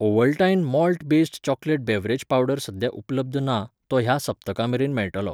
Ovaltine malt based chocolate beverage powder सद्या उपलब्ध ना, तो ह्या सप्तका मेरेन मेळटलो .